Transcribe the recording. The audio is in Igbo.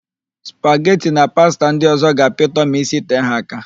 Spageti na pasta ndị ọ̀zọ́ ga-apịtọ ma isitee ha áká.